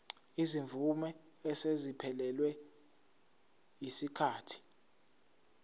izimvume eseziphelelwe yisikhathi